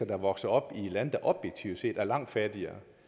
er vokset op i lande der objektivt set er langt fattigere